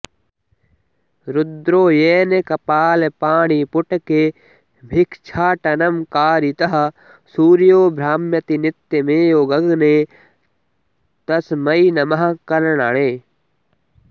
रुद्रोयेन कपालपाणिपुटके भिक्षाटनं कारितः सूर्यो भ्राम्यति नित्यमेव गगने तरमै नमः कर्णणे